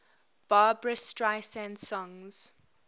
barbra streisand songs